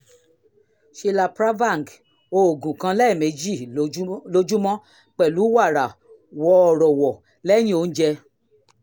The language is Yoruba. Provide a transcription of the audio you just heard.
shilapravang: oògùn kan lẹ́ẹ̀mejì lójúmọ́ pẹ̀lú wàrà wọ́ọ́rọ́wọ́ lẹ́yìn oúnjẹ